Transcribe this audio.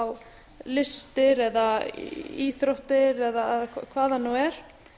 á listir eða íþróttir eða hvað það nú er